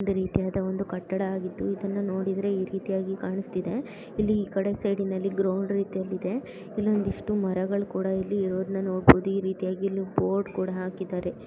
ಇದೆ ರೀತಿಯಾದ ಒಂದು ಕಟ್ಟಡವಾಗಿದ್ದು ಇದನ್ನು ನೋಡಿದರೆ ಇ ರೀತಿಯಾಗಿ ಕಾಣಿಸ್ತಿದೆ ಇಲ್ಲಿ ಇ ಕಡೆ ಸೈಡ್ನ ಲ್ಲಿ ಗ್ರೌಂಡ್ ರೀತಿಯಲ್ಲಿದೆ ಇಲ್ಲೊಂದು ಇಷ್ಟು ಮರಗಳು ಕುಡಾ ಇಲ್ಲಿ ಇರುವುದನ್ನು ನೋಡಬಹುದು ಇ ರೀತಿಯಾಗಿ ಇಲ್ಲಿ ಬೋರ್ಡ್ ಕುಡಾ ಹಾಕಿದ್ದಾರೆ .